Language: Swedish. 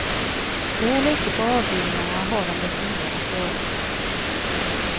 Väl ute på avdelningarna har de desto mer att göra.